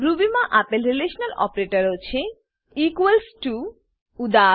રૂબીમાં આપેલ રીલેશનલ ઓપરેટરો છે ઇક્વલ્સ ટીઓ ઈક્વલ્સ ટુ ઉદા